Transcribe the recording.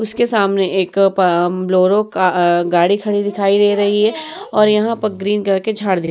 उसके सामने एक पा बोलेरो का गाड़ी खड़ी दिखाई दे रही है और यहाँ पर ग्रीन कलर के झाड़ --